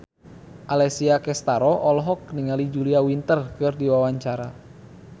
Alessia Cestaro olohok ningali Julia Winter keur diwawancara